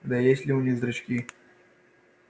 да и есть ли у них зрачки